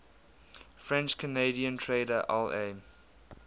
french canadian trader la